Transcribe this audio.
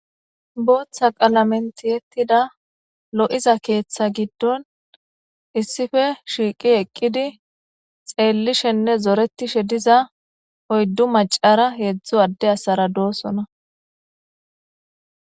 booththa qalamen tiyettida lo'iza keeththa giddon issiple shiiqi eqqidi xeellishenne zoretishe diza oyddu macara heedzdzu adde asara doosona